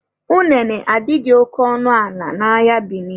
Unene adịghị oke ọnụ ala n'ahịa Bini